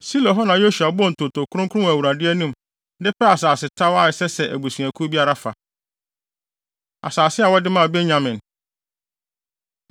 Silo hɔ na Yosua bɔɔ ntonto kronkron wɔ Awurade anim de pɛɛ asasetaw a ɛsɛ sɛ abusuakuw biara fa. Asase A Wɔde Maa Benyamin